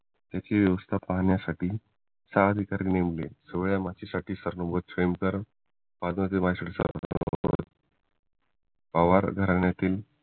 त्याचं व्यवस्था पाहण्यासाठी सहा अधिकारी नेमले शिवाय या मातीसाठी सरनोबत पद्मावती पवार घराण्यातील